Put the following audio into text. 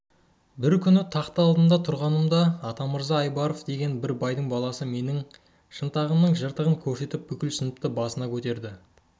бір күні тақта алдында тұрғанымда атамырза айбаров деген бір байдың баласы менің шынтағымның жыртығын көрсетіп бүкіл сыныпты басына